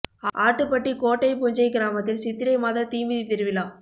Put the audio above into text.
ஆட்டுப்பட்டி கோட்டை புஞ்சை கிராமத்தில் சித்திரை மாத தீ மிதி திருவிழா